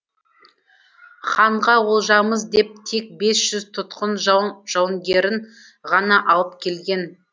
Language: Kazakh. ханға олжамыз деп тек бес жүз тұтқын жау жауынгерін ғана алып келген